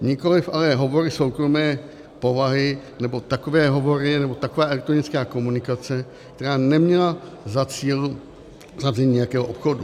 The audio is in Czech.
Nikoliv ale hovory soukromé povahy nebo takové hovory nebo taková elektronická komunikace, která neměla za cíl uzavření nějakého obchodu.